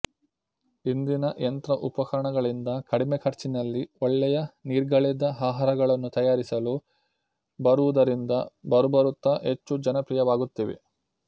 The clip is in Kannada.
ಇಂದಿನ ಯಂತ್ರ ಉಪಕರಣಗಳಿಂದ ಕಡಿಮೆ ಖರ್ಚಿನಲ್ಲಿ ಒಳ್ಳೆಯ ನೀರ್ಗಳೆದ ಆಹಾರಗಳನ್ನು ತಯಾರಿಸಲು ಬರುವುದರಿಂದ ಬರಬರುತ್ತ ಹೆಚ್ಚು ಜನಪ್ರಿಯವಾಗುತ್ತಿವೆ